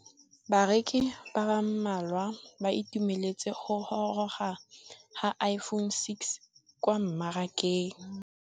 Bareki ba ba malwa ba ituemeletse go gôrôga ga Iphone6 kwa mmarakeng.